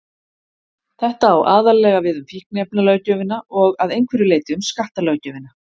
Þetta á aðallega við um fíkniefnalöggjöfina og að einhverju leyti um skattalöggjöfina.